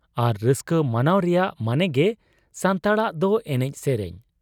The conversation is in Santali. ᱟᱨ ᱨᱟᱹᱥᱠᱟᱹ ᱢᱟᱱᱟᱣ ᱨᱮᱭᱟᱜ ᱢᱟᱱᱮᱜᱮ ᱥᱟᱱᱛᱟᱲᱟᱜ ᱫᱚ ᱮᱱᱮᱡ ᱥᱮᱨᱮᱧ ᱾